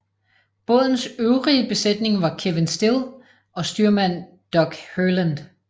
Bådens øvrige besætning var Kevin Still og styrmand Doug Herland